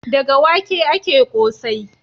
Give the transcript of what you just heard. Daga wake ake ƙosai.